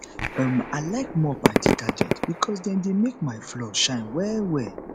um i like mop and detergent because dem dey make my floor shine well well